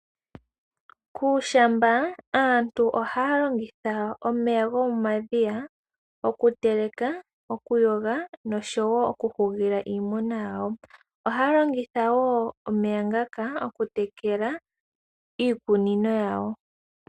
Kuushamba aantu ohaya longitha omeya gomomadhiya, oku teleka, okuyoga noshowo oku hugila iimuna yawo. Ohaa longitha woo omeya ngaka oku tekela iikunino yawo.